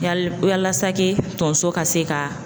Yali yalasa tonso ka se ka